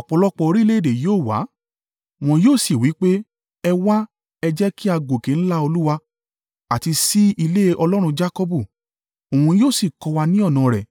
Ọ̀pọ̀lọpọ̀ orílẹ̀-èdè yóò wá, wọn yóò sì wí pé, “Ẹ wá, ẹ jẹ́ kí á gòkè ńlá Olúwa, àti sí ilé Ọlọ́run Jakọbu. Òun yóò sì kọ́ wa ní ọ̀nà rẹ̀,